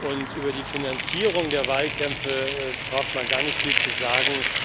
Und über die Finanzierung der Wahlkämpfe braucht man gar nicht viel zu sagen.